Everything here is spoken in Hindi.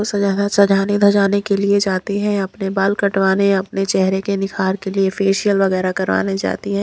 सजाने धजाने के लिए जाती हैं अपने बाल कटवाने अपने चेहरे के निखार के लिए फेशियल वगैरह करवाने जाती है।